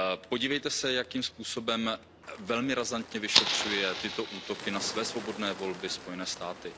Podívejte se, jakým způsobem, velmi razantně vyšetřují tyto útoky na své svobodné volby Spojené státy.